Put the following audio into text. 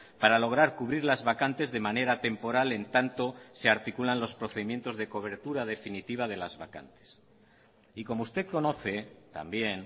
para lograr cubrir las vacantes de manera temporal en tanto se articulan los procedimientos de cobertura definitiva de las vacantes y como usted conoce también